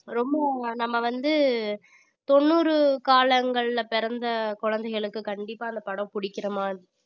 ரொம்பவும் நம்ம வந்து தொண்ணூறு காலங்கள்ல பிறந்த குழந்தைகளுக்கு கண்டிப்பா அந்தப் படம் பிடிக்கிற மாதிரி